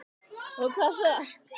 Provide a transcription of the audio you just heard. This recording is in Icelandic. Og hvað svo?